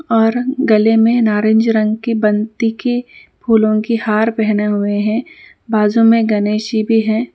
اور گلے میں نارنج رنگ کی بنتی کی پھولوں کی ہار پہنے ہوئے ہیں بازوں میں گنیش.